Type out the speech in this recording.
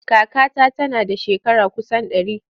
Kakata tana da shekara kusan ɗari.